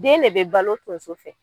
Den ne bɛ balo tonso fɛ.